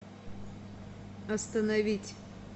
остановить